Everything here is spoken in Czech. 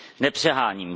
Nepřeháním.